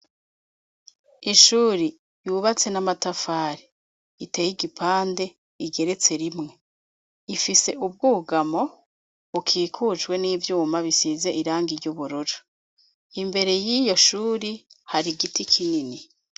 Ishuri yubatse n'amatafare iteye igipande igeretse rimwe ifise ubwugamo ukikujwe n'ivyuma bisize iranga iryo uburoja imbere y'iyo shuri hari igiti kinini.